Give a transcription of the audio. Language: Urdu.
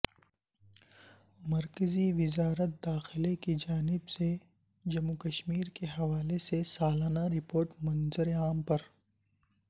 مرکزی وزارت داخلہ کی جانب سے جموںو کشمیرکے حوالے سے سالانہ رپورٹ منظرعام پر